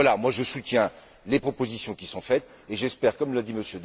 Voilà, je soutiens les propositions qui sont faites et j'espère, comme l'a dit M.